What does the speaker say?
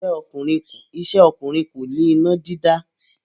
Iṣẹ́ ọkùnrin kọ́ ni iná dídá.